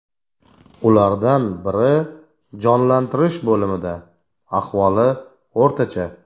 Ulardan biri jonlantirish bo‘limida, ahvoli o‘rtacha.